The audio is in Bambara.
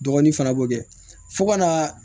Dɔgɔnin fana b'o kɛ fo ka na